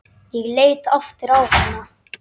Ég leit aftur á hana.